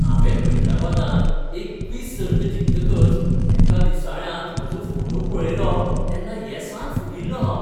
हांवें हैदराबादांत एक क्विझ सर्त जिखतकच एका दिसाळ्यांत म्हजो फोटो पळयलो तेन्ना येसान फुगिल्लों हांव.